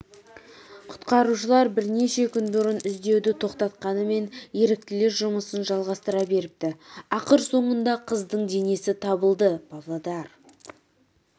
құтқарушылар бірнеше күн бұрын іздеуді тоқтатқанымен еріктілер жұмысын жалғастыра беріпті ақыры соңында қыздың денесі табылды павлодар